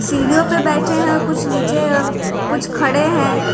सीढ़ियों पे बैठे हैं और कुछ नीचे और कुछ खड़े हैं।